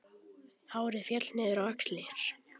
Hárið féll niður á axlir.